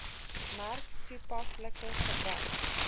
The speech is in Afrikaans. merk toepaslike gebruik